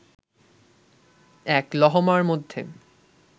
এক লহমার মধ্যে